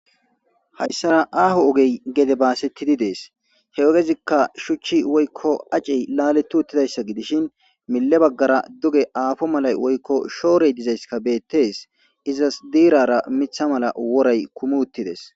hayssara aho ogey gede baasettidi dees he ogezikka shuchchi woykko acey laleti uttidayssa gidishin mille baggara duge afo malay woykko shoorey dizayskka bettees izas diirara miththa mala woray kumi uttidees